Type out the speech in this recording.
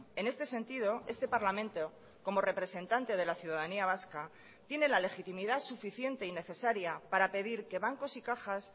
en este sentido este parlamento como representante de la ciudadanía vasca tiene la legitimidad suficiente y necesaria para pedir que bancos y cajas